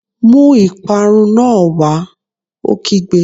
Mú ìparun náà wá! Ó kígbe